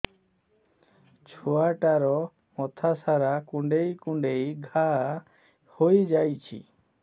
ଛୁଆଟାର ମଥା ସାରା କୁଂଡେଇ କୁଂଡେଇ ଘାଆ ହୋଇ ଯାଇଛି